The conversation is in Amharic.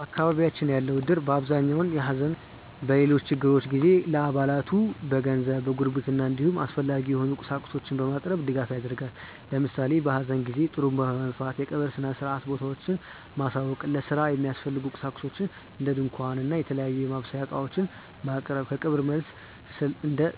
በአካባቢያችን ያለው እድር በአብዛኛው በሐዘን ወይም በሌሎች ችግሮች ጊዜ ለአባላቱ በገንዘብ፣ በጉርብትና እንዲሁም አስፈላጊ የሆኑ ቁሳቁሶችን በማቅረብ ድጋፍ ያደርጋል። ለምሳሌ በሀዘን ጊዜ ጡሩንባ በመንፋት የቀብር ሰአትና ቦታውን ማሳወቅ፣ ለስራ የሚያስፈልጉ ቁሳቁሶችን እንደ ድንኳን እና የተለያዩ የማብሰያ እቃዎችን ማቅረብ፣ ከቀብር መልስ እስከ